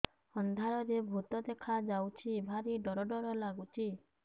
ଅନ୍ଧାରରେ ଭୂତ ଦେଖା ଯାଉଛି ଭାରି ଡର ଡର ଲଗୁଛି